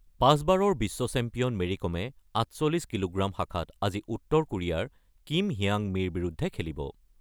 ৫ বাৰৰ বিশ্ব champion Mary কমে ৪৮ কিলোগ্ৰাম শাখাত আজি উত্তৰ কেৰিয়াৰ কিম হিয়াং মিৰ বিৰুদ্ধে খেলিব।